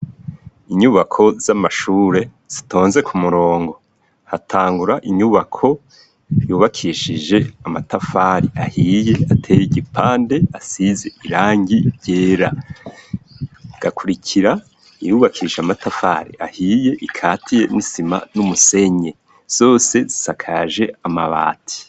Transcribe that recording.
Inyubako z'amashure zitonze ku murongo hatangura inyubako yubakishije amatafari ahiye ateye igipande asize irangi ryera gakurikira iyubakishe amatafari ahiye ikatiye misima n'umusenye zose sakaje amabati.